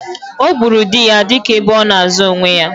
Ọ gburu di ya dị ka ebe ona azo onwe ya